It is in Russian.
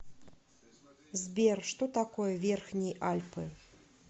сбер что такое верхние альпы